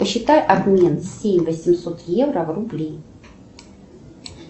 посчитай обмен семь восемьсот евро в рубли